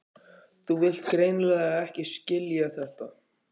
Þú vilt greinilega ekki skilja þetta.